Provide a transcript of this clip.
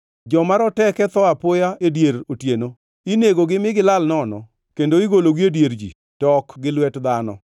Joma roteke tho apoya e dier otieno; inegogi mi gilal nono, kendo igologi e dier ji, to ok gi lwet dhano.